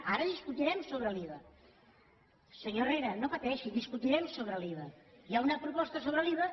ara discutirem sobre l’iva senyor herrera no pateixi discutirem sobre l’iva hi ha una proposta sobre l’iva